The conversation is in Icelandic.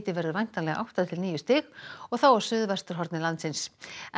verður væntanlega átta til níu stig og þá á suðvesturhorni landsins